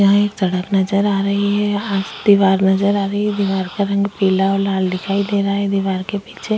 यहाँ एक सड़क नजर आ रही है पास दीवार नजर आ रही है दीवार का रंग पीला और लाल दिखाई दे रहा है दीवार के पीछे --